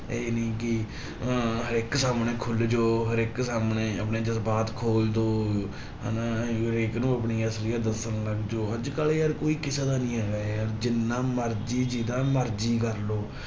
ਇਹ ਨੀ ਕਿ ਅਹ ਹਰੇਕ ਸਾਹਮਣੇ ਖੁੱਲ ਜਾਓ ਹਰੇਕ ਸਾਹਮਣੇ ਆਪਣੇ ਜਜਬਾਤ ਖੋਲ ਦਓ, ਹਨਾ ਹਰੇਕ ਨੂੰ ਆਪਣੀ ਅਸਲੀਅਤ ਦੱਸਣ ਲੱਗ ਜਾਓ, ਅੱਜ ਕੱਲ੍ਹ ਯਾਰ ਕੋਈ ਕਿਸੇ ਦਾ ਨੀ ਹੈਗਾ ਯਾਰ ਜਿੰਨਾ ਮਰਜ਼ੀ ਜਿਹਦਾ ਮਰਜ਼ੀ ਕਰ ਲਓ